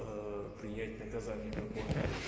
принять наказание любое